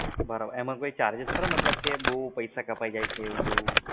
એનો કોઈ charges ખરો કે બવ પૈસા કપાઈ જાય છે એવું? તેવું